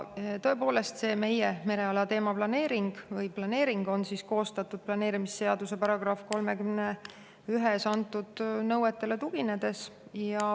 Tõepoolest, see meie mereala planeering on koostatud planeerimisseaduse § 31 nõuetele tuginedes.